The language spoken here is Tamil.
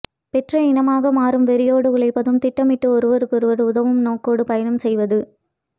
பெற்ற இனமாக மாறும் வெறியோடு உழைப்பதும் திட்டமிட்டு ஒருவருக்கொருவர் உதவும் நோக்கோடு பயணம் செய்வது